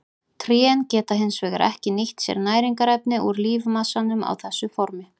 Trén geta hins vegar ekki nýtt sér næringarefni úr lífmassanum á þessu formi.